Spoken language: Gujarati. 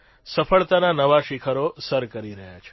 સફળતાના નવા શિખરો સર કરી રહ્યા છે